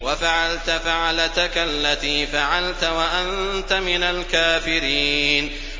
وَفَعَلْتَ فَعْلَتَكَ الَّتِي فَعَلْتَ وَأَنتَ مِنَ الْكَافِرِينَ